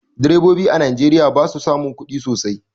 Direbobi a najeriya basu samun kudi sosai